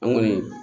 An kɔni